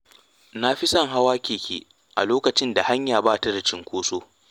Na fi son hawa keke a lokacin da hanya ba ta da cunkoso.